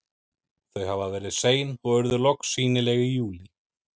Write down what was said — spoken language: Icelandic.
Þau hafa verið sein og urðu loks sýnileg í júlí.